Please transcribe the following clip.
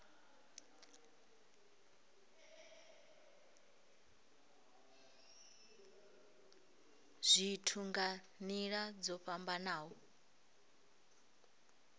zwithu nga nila dzo fhambanaho